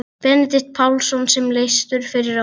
Benedikt Pálsson sem leystur var fyrir ári.